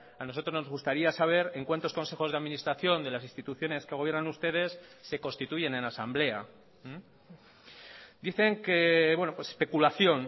a nosotros nos gustaría saber en cuántos consejos de administración de las instituciones que gobiernan ustedes se constituyen en asamblea dicen que especulación